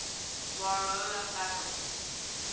warhola family